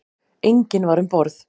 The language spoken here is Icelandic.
Enginn var um borð.